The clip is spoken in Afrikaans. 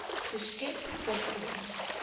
geskep per ton